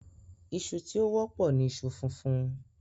Iṣu tí ó wọ́pọ̀ ní iṣu funfun